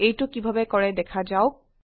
এইটো কিভাবে কৰে দেখা যাওক